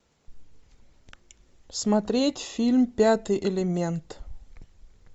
смотреть фильм пятый элемент